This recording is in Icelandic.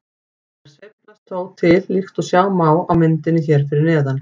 Þær sveiflast þó til líkt og sjá má á myndinni hér fyrir neðan.